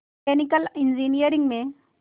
mechanical engineering में